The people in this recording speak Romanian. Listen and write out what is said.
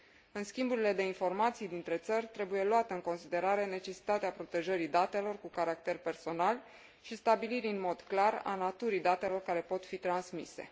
În schimburile de informații dintre țări, trebuie luată în considerare necesitatea protejării datelor cu caracter personal și a stabilirii în mod clar a naturii datelor care pot fi transmise.